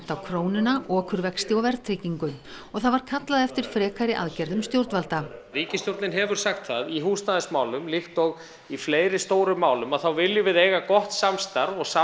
á krónuna okurvexti og verðtryggingu og það var kallað eftir frekari aðgerðum stjórnvalda ríkisstjórnin hefur sagt það í húsnæðismálum líkt og í fleiri stórum málum þá viljum við eiga gott samstarf og